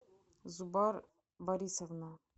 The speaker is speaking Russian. зубар борисовна